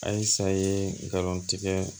Ayisa ye garantigɛ